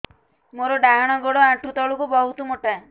ମୋର ଡାହାଣ ଗୋଡ ଆଣ୍ଠୁ ତଳୁକୁ ବହୁତ ମୋଟା